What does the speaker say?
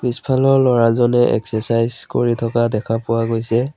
পিছফালৰ ল'ৰাজনে এক্সেচাইজ কৰি থকা দেখা পোৱা গৈছে।